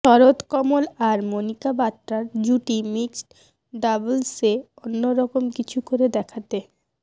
শরথকমল আর মণিকা বাত্রার জুটি মিক্সড ডাবলসে অন্যরকম কিছু করে দেখাতে